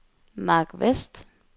Marc Westh